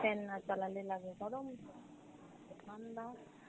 fan না চালালে লাগে গরম, ঠান্ডা